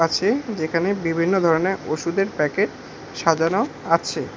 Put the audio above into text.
যেখানে বিভিন্ন ধরনের ওষুধের প্যাকেট সাজানো আছে।